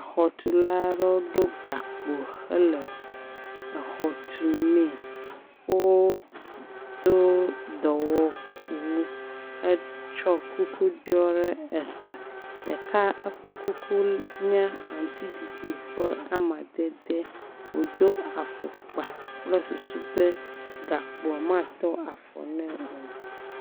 Xɔtula ɖewo ɖo gakpo hele exɔ tu mee, wodo dɔwɔwu hetsɔ kuku ɖɔ ɖe eta, ɖeka eƒe kuku nye aŋutiɖiɖi ƒe amadede, wodo afɔkpa kple susu be gakpo matɔ afɔ ne o.